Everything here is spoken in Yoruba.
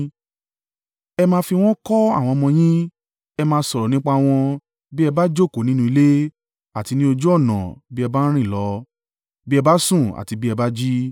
Ẹ máa fi wọ́n kọ́ àwọn ọmọ yín, ẹ máa sọ̀rọ̀ nípa wọn bí ẹ bá jókòó nínú ilé, àti ní ojú ọ̀nà bí ẹ bá ń rìn lọ, bí ẹ bá sùn àti bí ẹ bá jí.